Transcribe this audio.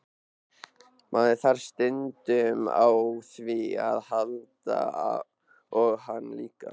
Maður þarf stundum á því að halda og hann líka.